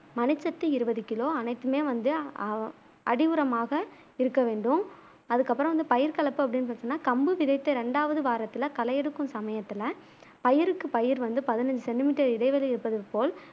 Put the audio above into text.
மணிச்சத்து இருவது கிலோ அனைத்துமே வந்து அதி உரமாக இருக்க வேண்டும் அதுக்கு அப்புறம் வந்து பயிர் கலப்பு அப்பிடினு பாத்திங்கனா கம்பு விதத்த ரெண்டாவது வாரத்துல களை எடுக்கும் சமயத்துல பயிருக்கு பயிர் வந்து பதினஞ்சு சென்டி மீட்டர் இடைவெளி இருப்பது போல்